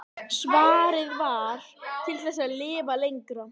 Svarið var: Til þess að lifa lengra.